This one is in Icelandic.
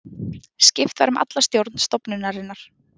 Skipt var um alla stjórn stofnunarinnar